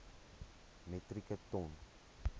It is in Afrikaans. metrieke ton